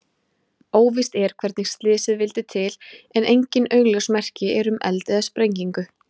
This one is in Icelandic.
Óvíst er hvernig slysið vildi til en engin augljós merki eru um eld eða sprengingu.